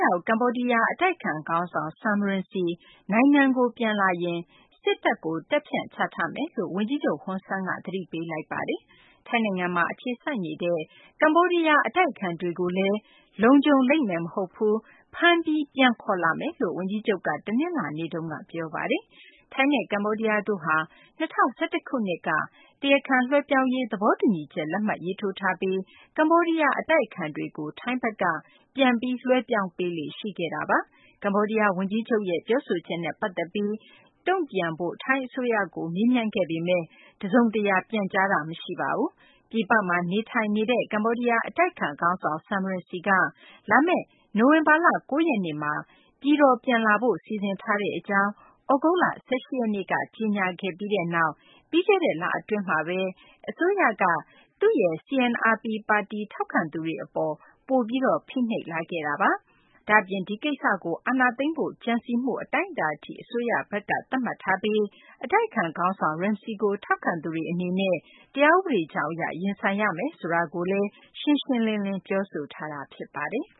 ရောက် ကမ္ဘောဒီးယား အတိုက်အခံခေါင်းဆောင် Sam Rainsy နိုင်ငံကို ပြန်လာရင် စစ်တပ်ကို တပ်ဖြန့်ချထားမယ်လို့ ဝန်ကြီးချုပ် ဟွန်ဆန်က သတိပေးလိုက်ပါတယ်။ ထိုင်းနိုင်ငံမှာ အခြေစိုက်နေတဲ့ ကမ္ဘောဒီးယား အတိုက်အခံတွေကိုလည်း လုံခြုံလိမ့်မယ် မဟုတ်ဘူး၊ ဖမ်းပြီး ပြန်ခေါ်လာမယ်လို့လည်း ဝန်ကြီးချုပ်က တနင်္လာနေ့တုန်းက ပြောပါတယ်။ ထိုင်းနဲ့ ကမ္ဘောဒီးယားတို့ဟာ၂၀၁၁ ခုနှစ်က တရားခံလွှဲပြောင်းရေး သဘောတူညီချက် လက်မှတ်ရေးထိုးထားပြီး ကမ္ဘောဒီးယား အတိုက်အခံတွေကို ထိုင်းဘက်က ပြန်ပြီး လွှဲပြောင်းပေးလေ့ ရှိခဲ့တာပါ။ ကမ္ဘောဒီးယား ဝန်ကြီးချုပ်ရဲ့ ပြောဆိုချက်နဲ့ ပတ်သက်ပြီး တုံ့ပြန်ဖို့ ထိုင်းအစိုးရကို မေးမြန်းခဲ့ပေမယ့် တစုံတရာ တုံ့ပြန်ပြောဆိုတာ မရှိပါဘူး။ ပြည်ပမှာ နေထိုင်နေတဲ့ ကမ္ဘောဒီးယား အတိုက်အခံခေါင်းဆောင် Sam Rainsy က လာမယ့် နိုဝင်ဘာလ ၉ ရက်နေ့မှာ ကမ္ဘောဒီးယားကို ပြန်လာဖို့ စီစဉ်ထားကြောင်း သြဂုတ်လ ၁၈ ရက်က ကြေညာခဲ့ပြီးနောက် ပြီးခဲ့တဲ့ လအတွင်း အစိုးရက CNRP ပါတီ ထောက်ခံသူတွေအပေါ် ပိုပြီး ဖိနှိပ်လာခဲ့တာပါ။ ဒါ့အပြင် ဒီကိစ္စကို အာဏာသိမ်းဖို့ ကြံစည်မှု အတိုင်းအတာအထိ အစိုးရဘက်က သတ်မှတ်ထားပြီး အတိုက်အခံ ခေါင်းဆောင် Rainsy ကို ထောက်ခံသူတွေအနေနဲ့ တရားဥပဒေကြောင်းအရ ရင်ဆိုင်ရမယ် ဆိုတာကိုလည်း အစိုးရက ရှင်းရှင်းလင်းလင်း ပြောဆိုထားပြီး ဖြစ်ပါတယ်။